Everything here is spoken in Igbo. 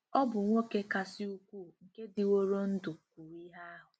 Ọ bụ nwoke kasị ukwuu nke dịworo ndụ kwuru ihe ahụ.